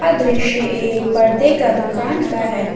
यह दृश्य एक पर्दे का दुकान का है।